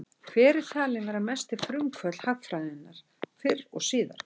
Hver er talinn vera mesti frumkvöðull hagfræðinnar fyrr og síðar?